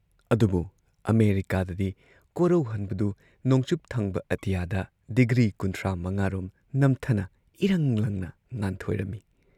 ꯑꯗꯨꯕꯨ ꯑꯃꯦꯔꯤꯀꯥꯗꯗꯤ ꯀꯣꯔꯧꯍꯟꯕꯗꯨ ꯅꯣꯡꯆꯨꯞꯊꯪꯕ ꯑꯇꯤꯌꯥꯗ ꯗꯤꯒ꯭ꯔꯤ ꯀꯨꯟꯊ꯭ꯔꯥ ꯃꯉꯥꯔꯣꯝ ꯉꯝꯊꯅ ꯏꯔꯪ ꯂꯪꯅ ꯉꯥꯟꯊꯣꯏꯔꯝꯏ ꯫